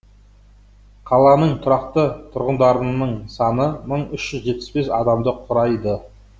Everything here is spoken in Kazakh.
қаланың тұрақты тұрғындарының саны мың үш жүз жетпіс бес адамды құрайды